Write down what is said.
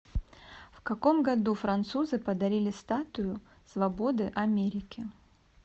в каком году французы подарили статую свободы америке